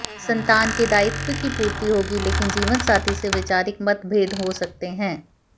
संतान के दायित्व की पूर्ति होगी लेकिन जीवनसाथी से वैचारिक मतभेद हो सकते हैं